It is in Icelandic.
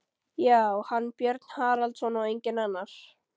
Já, hann, Björn Haraldsson, og enginn annar!